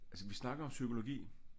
Altså vi snakker om psykologi